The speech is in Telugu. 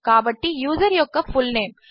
కాబట్టి యూజర్యొక్కfullname